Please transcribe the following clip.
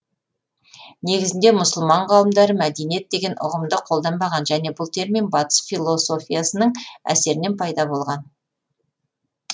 негізінде мұсылман ғалымдары мәдениет деген ұғымды қолданбаған және бұл термин батыс философиясының әсерінен пайда болған